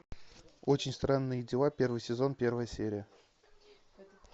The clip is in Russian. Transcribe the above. очень странные дела первый сезон первая серия